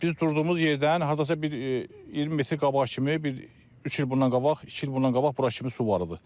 Biz durduğumuz yerdən hardasa bir 20 metr qabağa kimi bir üç il bundan qabaq, iki il bundan qabaq bura kimi su var idi.